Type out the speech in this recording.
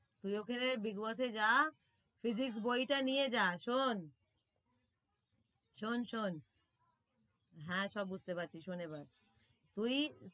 তুই ওখানে big boss এ যা physics বইটা নিয়ে যা শোন শোন শোন হ্যাঁ, সব বুঝতে পারছি শোন এবার তুই।